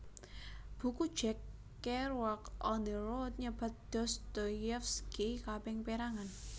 Buku Jack Kerouac On the Road nyebat Dostoyevsky kaping pérangan